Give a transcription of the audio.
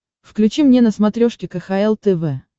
включи мне на смотрешке кхл тв